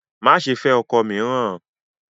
Má ṣe fẹ́ ọkọ mìíràn!